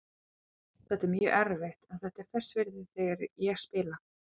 Þetta er mjög erfitt en þetta er þess virði þegar ég spila.